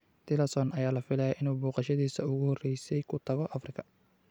Tillerson ayaa la filayaa inuu booqashadiisa ugu horeysay ku tago Afrika